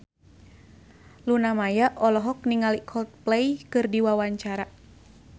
Luna Maya olohok ningali Coldplay keur diwawancara